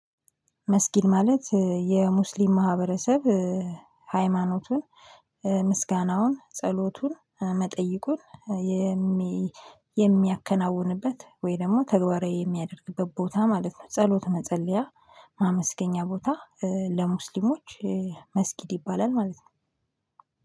መስጊድ ማለት የሙስሊም ማህበረሰብ ሃይማኖቱ ምስጋናውን ጸሎቱን መጠይቁን የሚያከናውንበት ወይ ደግሞ ተግባራዊ የሚያደርግበት ቦታ ማለት ነው። ጸሎት መጸለያ ማመስገኛ ቦታ ለሙስሊሞች መስጊድ ይባላል ማለት ነው።